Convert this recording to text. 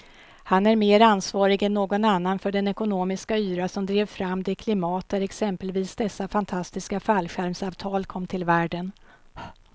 Han är mer ansvarig än någon annan för den ekonomiska yra som drev fram det klimat där exempelvis dessa fantastiska fallskärmsavtal kom till världen.